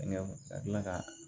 ka tila ka